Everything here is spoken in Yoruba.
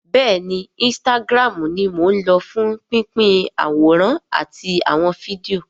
Bẹ́ẹ̀ni instagram ni mò ń lò fún pínpín àwòrán àti àwọn fídíò